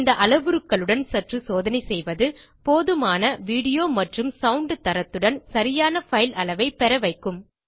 இந்த அளவுருக்களுடன் சற்று சோதனை செய்வது போதுமான வீடியோ மற்றும் சவுண்ட் தரத்துடன் சரியான பைல் அளவை பெறவைக்கும்